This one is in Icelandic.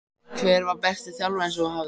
Hver var besti þjálfarinn sem þú hafðir?